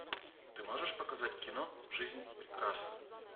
ты можешь показать кино жизнь прекрасна